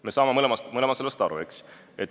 Me saame mõlemad sellest aru, eks ole.